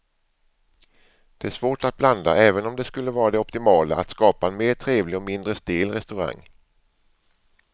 Det är svårt att blanda även om det skulle vara det optimala att skapa en mer trevlig och mindre stel restaurang.